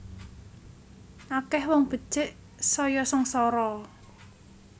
Akeh wong becik saya sengsara